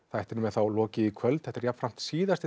þættinum er þá lokið í kvöld þetta er síðasti